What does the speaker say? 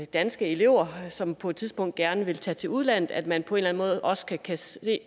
danske elever som på et tidspunkt gerne vil tage til udlandet at man på en eller en måde også kan se